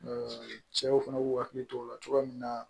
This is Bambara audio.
cɛw fana b'u hakili to o la cogoya min na